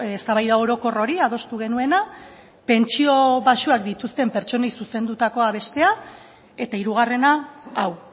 eztabaida orokor hori adostu genuena pentsio baxuak dituzten pertsonei zuzendutakoa bestea eta hirugarrena hau